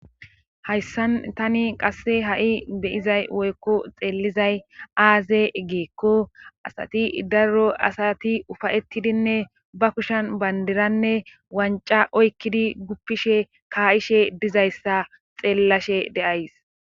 Hayssan tani qasse ha7i be7izay woykko xeellizay aaze geekko asati daruro asati ufayettidinne ba kushan bandiranne wanca oykkidi guppishe kaayishe dizayssa xeellashe de7ays.